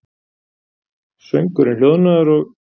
Söngurinn hljóðnaður, og